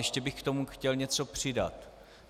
Ještě bych k tomu chtěl něco přidat.